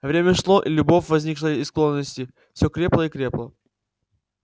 время шло и любовь возникшая из склонности все крепла и крепла